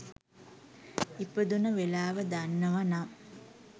ඉපදුන වෙලාව දන්නවනම්